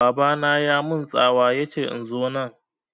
Baba na ya mun tsawa yace in zo nan